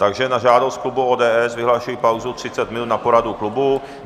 Takže na žádost klubu ODS vyhlašuji pauzu 30 minut na poradu klubu.